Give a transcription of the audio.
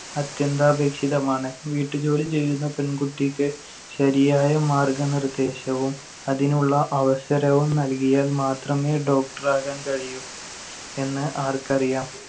അത്യന്താപേക്ഷിതമാണ്. വീട്ടുജോലി ചെയ്യുന്ന പെൺകുട്ടിക്ക് ശരിയായ മാർഗനിർദേശവും അതിനുള്ള അവസരവും നൽകിയാൽ മാത്രമേ Doctor ആകാൻ കഴിയൂ എന്ന് ആർക്കറിയാം.